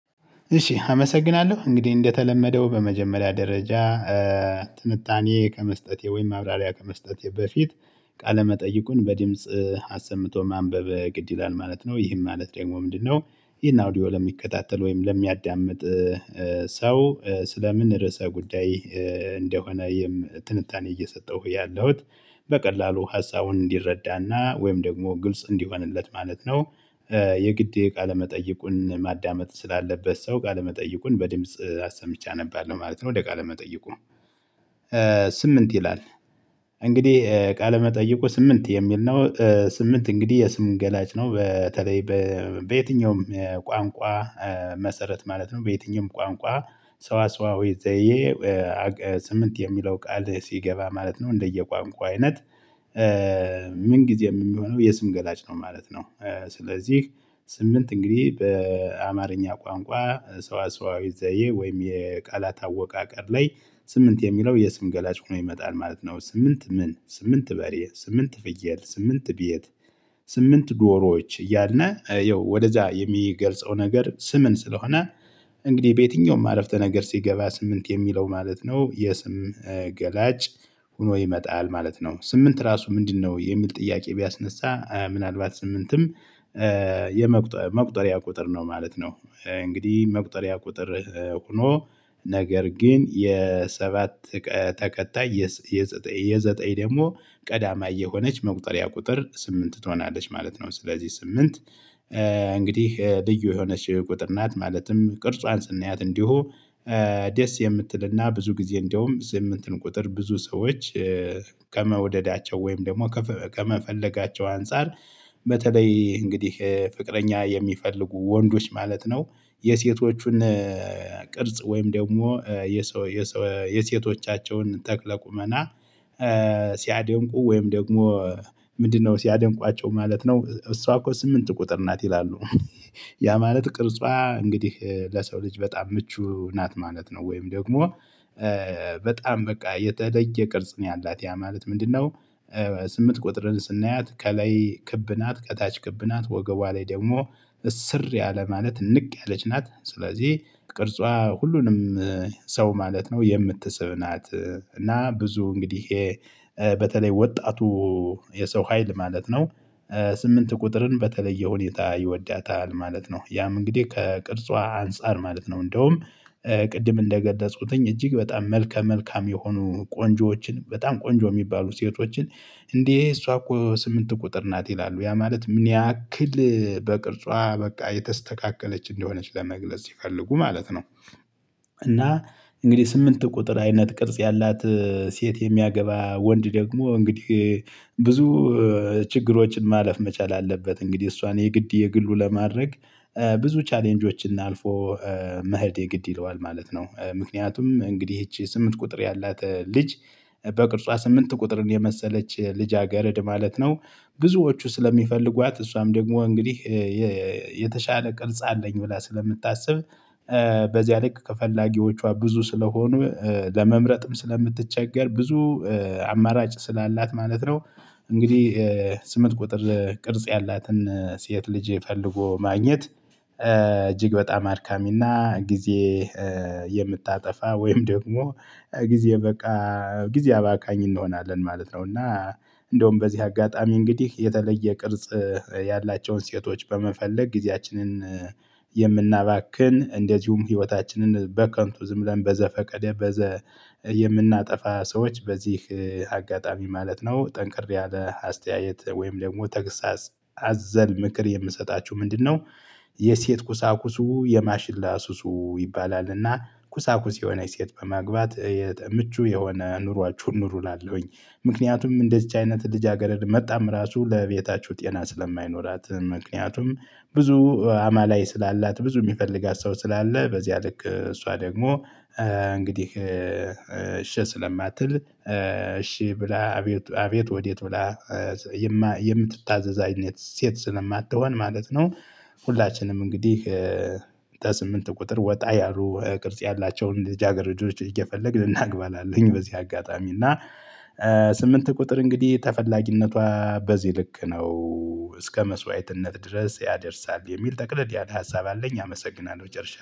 እሺ አመሰግናለሁ። እንግዲህ እንደተለመደው በመጀመሪያ ደረጃ ትንታኔ ከመስጠቴ ወይም ማብራሪያ ከመስጠት በፊት ቃለ መጠይቁን በድምጽ አሰምቶ ማንበብ ግድ ይላል ማለት ነው። ይህም ማለት ደግሞ ምንድነው ይሄን አውዲዮ ለሚከታተል ወይም ለሚያዳምጥ ሰው ስለምን ርዕሰ ጉዳይ እንደሆነ ይም ትንታኔ እየሰጠሁ ያለሁት በቀላሉ ሀሳቡን እንዲረዳና ወይም ደግሞ ግልጽ እንዲሆንለት ማለት ነው። የግዴ ቃለመጠይቁን ማዳመጥ ስላለበት ሰው ቃለመጠይቁን በድምጽ ሀሳብ ብቻ አነባለሁ ማለት ነው ወደ ቃለመጠይቁ። ስምንት ይላል። እንግዲህ ቃለመጠይቁ ስምንት የሚል ነው። ስምንት እንግዲህ የስም ገላጭ ነው። በተለይ በየትኛውም ቋንቋ መሰረት ማለት ነው በየትኛውም ቋንቋ ሰዋሰዋዊ ዘዬ ስምንት የሚለው ቃል ሲገባ ማለት ነው እንደየቋንቋው አይነት ምን ጊዜም የሚሆነው የስም ገላጭ ነው ማለት ነው። ስለዚህ ስምንት እንግዲህ በአማርኛ ቋንቋ ሰዋሰዋዊ ዘዬ ወይም የቃላት አወቃቀር ላይ ስምንት የሚለው የስም ገላጭ ሆኖ ይመጣል ማለት ነው። ስምንት ምን? ስምንት በሬ፣ ስምንት ፍየል፣ ስምንት ቤት፣ ስምንት ዶሮዎች እያለ ያው ወደዛ የሚገልጸው ነገር ስምን ስለሆነ እንግዲህ በየትኛውም አረፍተ ነገር ሲገባ ስምንት የሚለው ማለት ነው የስም ገላጭ ሆኖ ይመጣል ማለት ነው። ስምንት ራሱ ምንድነው? የሚል ጥያቄ ቢያስነሳ ምናልባት ስምንትም የመቁጠሪያ ቁጥር ነው ማለት ነው። እንግዲህ መቁጠሪያ ቁጥር ሆኖ ነገር ግን የሰባት ተከታይ የዘጠኝ፣ የዘጠኝ ደግሞ ቀዳማይ የሆነች መቁጠሪያ ቁጥር ስምንት ትሆናለች ማለት ነው። ስለዚህ ስምንት እንግዲህ ልዩ የሆነች ቁጥር ናት። ማለትም ቅርጿን ስናያት እንዲሁ ደስ የምትልና ብዙ ጊዜ እንደውም ስምንትን ቁጥር ብዙ ሰዎች ከመውደዳቸው ወይም ደግሞ ከመፈለጋቸው አንፃር በተለይ እንግዲህ ፍቅረኛ የሚፈልጉ ወንዶች ማለት ነው የሴቶቹን ቅርጽ ወይም ደግሞ የሴቶቻቸውን ተክለ ቁመና ሲያደንቁ ወይም ደግሞ ምንድነው? ሲያደንቋቸው ማለት ነው እሷ እኮ ስምንት ቁጥር ናት ይላሉ። ያ ማለት ቅርጿ እንግዲህ ለሰው ልጅ በጣም ምቹ ናት ማለት ነው ወይም ደግሞ በጣም በቃ የተለየ ቅርጽ ነው ያላት። ያ ማለት ምንድነው ስምንት ቁጥርን ስናያት ከላይ ክብ ናት ከታች ክብ ናት ወገቧ ላይ ደግሞ እስር ያለ ማለት እንቅ ያለች ናት። ስለዚህ ቅርጿ ሁሉንም ሰው ማለት ነው የምትስብ ናት። እና ብዙ እንግዲህ በተለይ ወጣቱ የሰው ሀይል ማለት ነው ስምንት ቁጥርን በተለየ ሁኔታ ይወዳታል ማለት ነው። ያም እንግዲህ ከቅርጿ አንፃር ማለት ነው። እንደውም ቅድም እንደገደጽኩትኝ እጅግ በጣም መልከ መልካም የሆኑ ቆንጆዎችን በጣም ቆንጆ የሚባሉ ሴቶችን እንዴ እሷ እኮ ስምንት ቁጥር ናት ይላሉ። ያ ማለት ምን ያክል በቅርጿ በቃ የተስተካከለች እንደሆነች ለመግለጽ ሲፈልጉ ማለት ነው። እና እንግዲህ ስምንት ቁጥር አይነት ቅርጽ ያላት ሴት የሚያገባ ወንድ ደግሞ እንግዲህ ብዙ ችግሮችን ማለፍ መቻል አለበት እንግዲህ እሷን የግድ የግሉ ለማድረግ ብዙ ቻሌንጆችን እናልፎ መሄድ የግድ ይለዋል ማለት ነው። ምክንያቱም እንግዲህ ይቺ ስምንት ቁጥር ያላት ልጅ በቅርጿ ስምንት ቁጥር የመሰለች ልጅ አገርድ ማለት ነው ብዙዎቹ ስለሚፈልጓት እሷም ደግሞ እንግዲህ የተሻለ ቅልጽ አለኝ ብላ ስለምታስብ በዚያ ልክ ከፈላጊዎቿ ብዙ ስለሆኑ ለመምረጥም፣ ስለምትቸገር ብዙ አማራጭ ስላላት ማለት ነው እንግዲህ ስምንት ቁጥር ቅርጽ ያላትን ሴት ልጅ ፈለጎ ማግኘት እጅግ በጣም አድካሚና ጊዜ የምታጠፋ ወይም ደግሞ ጊዜ በቃ ጊዜ አባካኝ እንሆናለን ማለት ነው። እና እንደውም በዚህ አጋጣሚ እንግዲህ የተለየ ቅርጽ ያላቸውን ሴቶች በመፈለግ ጊዜያችንን የምናባክን እንደዚሁም ህይወታችንን በከንቱ ዝም ብለን በዘፈቀደ በዘ የምናጠፋ ሰዎች በዚህ አጋጣሚ ማለት ነው ጠንቅር ያለ አስተያየት ወይም ደግሞ ተግሳጽ አዘል ምክር የምሰጣችሁ ምንድነው? የሴት ኩሳኩሱ የማሽላ ሱሱ ይባላል እና ኩሳኩስ የሆነ የሴት በማግባት ምቹ የሆነ ኑሯችሁን ኑሩ እላለሁኝ። ምክንያቱም እንደዚች አይነት ልጅ አገልድ መጥታም ራሱ ለቤታችሁ ጤና ስለማይኖራት። ምክንያቱም ብዙ አማላይ ስላላት፣ ብዙ የሚፈልጋት ሰው ስላለ በዚያ ልክ እሷ ደግሞ እንግዲህ እሺ ስለማትል እሺ ብላ አቤት አቤት ወዴት ብላ የምትታዘዝ አይነት ሴት ስለማትሆን ማለት ነው ሁላችንም እንግዲህ ከስምንት ቁጥር ወጣ ያሉ ቅርጽ ያላቸውን ልጅ አገር ልጆች እየፈለግን ልናግባል አለኝ በዚህ አጋጣሚ። እና ስምንት ቁጥር እንግዲህ ተፈላጊነቷ በዚህ ልክ ነው እስከ መስዋዕትነት ድረስ ያደርሳል የሚል ጠቅለድ ያለ ሀሳብ አለኝ። አመሰግናለሁ፣ ጨርሻለሁ።